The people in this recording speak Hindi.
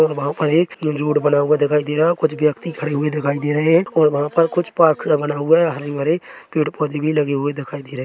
और वहाँ पर एक रोड बना हुआ दिखाई दे रहा कुछ व्यक्ति खड़े हुए दिखाई दे रहे है और वहाँ पर कुछ पार्क सा बना हुआ है हरे-भरे पेड़-पौधे भी लगे हुए दिखाई दे रहे --